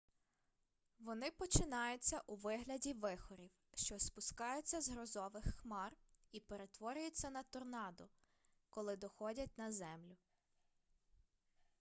вони починаються у вигляді вихорів що спускаються з грозових хмар і перетворюються на торнадо коли доходять на землю